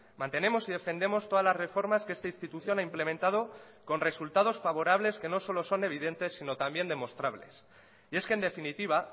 mantenemos y defendemos todas las reformas que esta institución ha implementado con resultados favorables que no solo son evidentes sino también demostrables y es que en definitiva